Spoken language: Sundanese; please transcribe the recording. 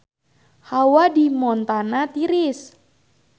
Hawa di Montana tiris